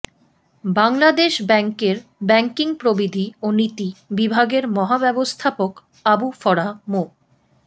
বাংলাদেশ ব্যাংকের ব্যাংকিং প্রবিধি ও নীতি বিভাগের মহাব্যবস্থাপক আবু ফরাহ মো